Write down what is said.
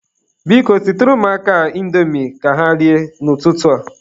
Biko, sitere ụmụaka a indomi ka ha rie n'ụtụtụ a.